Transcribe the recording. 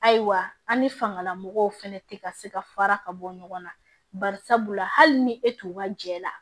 Ayiwa an ni fangalamɔgɔw fɛnɛ tɛ ka se ka fara ka bɔ ɲɔgɔn na barisabula hali ni e t'u ka jɛ la